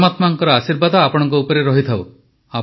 ପରମାତ୍ମାଙ୍କ ଆଶୀର୍ବାଦ ଆପଣଙ୍କ ଉପରେ ରହିଥାଉ